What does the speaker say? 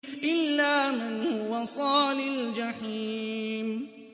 إِلَّا مَنْ هُوَ صَالِ الْجَحِيمِ